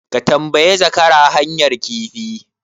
Ka tambayi zakara hanyar rafi?